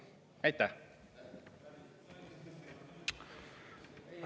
Aitäh!